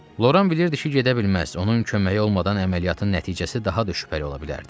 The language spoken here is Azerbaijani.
Loran bilirdi ki, gedə bilməz, onun köməyi olmadan əməliyyatın nəticəsi daha da şübhəli ola bilərdi.